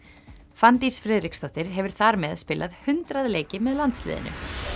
Fanndís Friðriksdóttir hefur þar með spilað hundrað leiki með landsliðinu